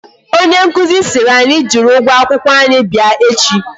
Onye nkụzi siri ànyị jiri ụgwọ akwụkwọ anyi bịa echi